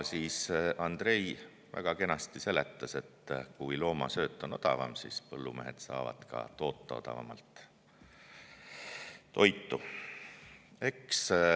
Andrei väga kenasti seletas, et kui loomasööt on odavam, siis põllumehed saavad toota toitu odavamalt.